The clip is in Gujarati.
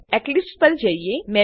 તો એક્લીપ્સ પર જઈએ